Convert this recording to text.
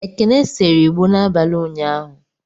Ekene seree igbo n'abalị ụnyaahụ.